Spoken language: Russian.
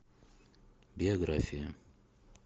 биография